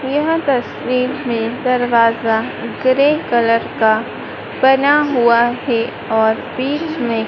यह तस्वीर मे दरवाजा ग्रे कलर का बना हुआ हैं और बीच में--